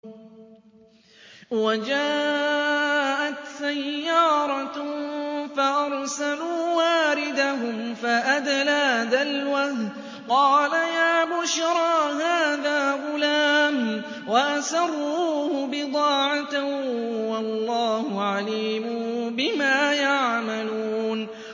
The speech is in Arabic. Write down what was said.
وَجَاءَتْ سَيَّارَةٌ فَأَرْسَلُوا وَارِدَهُمْ فَأَدْلَىٰ دَلْوَهُ ۖ قَالَ يَا بُشْرَىٰ هَٰذَا غُلَامٌ ۚ وَأَسَرُّوهُ بِضَاعَةً ۚ وَاللَّهُ عَلِيمٌ بِمَا يَعْمَلُونَ